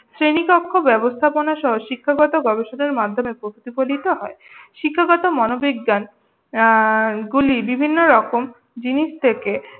শ্রেনিকক্ষ ব্যবস্থাপনা সহ শিক্ষাগতগবেশনার মাধ্যমে প্রতিফলিত হয়। শিক্ষাগত মনোবিজ্ঞান উম গুলি বিভিন্নরকম জিনিস থেকে